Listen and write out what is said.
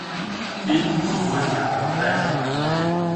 фильм другой мир дай мне посмотреть